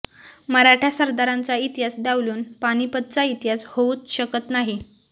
मराठा सरदारांचा इतिहास डावलून पानिपतचा इतिहास होऊच शकत नाही